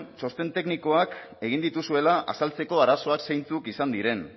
txosten teknikoak egin dituzuela azaltzeko arazoak zeintzuk izan diren